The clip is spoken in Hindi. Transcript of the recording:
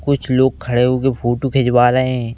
कुछ लोग खड़े होके फोटो खिंचवा रहे हैं।